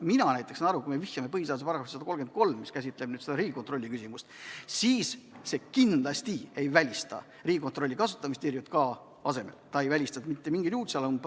Mina näiteks saan aru, et kui me vihjame põhiseaduse §-le 133, mis käsitleb Riigikontrolli küsimust, siis see kindlasti ei välista Riigikontrolli kasutamist ERJK asemel, ta ei välista mitte mingil juhul.